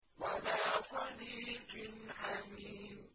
وَلَا صَدِيقٍ حَمِيمٍ